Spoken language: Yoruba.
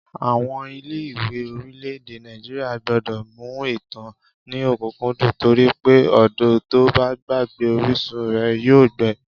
Àwọn ilé-ìwé orílẹ̀-èdè Nàìjíríà gbọ́dọ̀ mú ìtàn ní ọ̀kúkúndùn torí pé odò tó bá gbàgbé orísun rẹ̀ yóò gbẹ